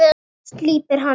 Slípar hana.